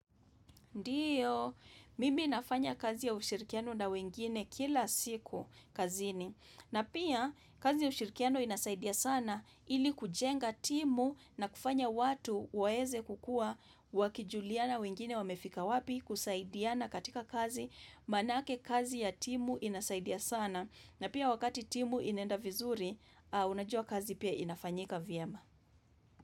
Ndiyo, mimi nafanya kazi ya ushirikiano na wengine kila siku kazini na pia kazi ya ushirikiano inasaidia sana ili kujenga timu na kufanya watu waweze kukua wakijuliana wengine wamefika wapi kusaidiana katika kazi manake kazi ya timu inasaidia sana na pia wakati timu inenda vizuri unajua kazi pia inafanyika vyema.